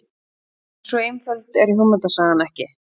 En svo einföld er hugmyndasagan ekki.